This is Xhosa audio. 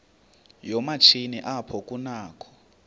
yoomatshini apho kunakho